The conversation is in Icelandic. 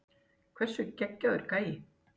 Hversu geggjaður gæi?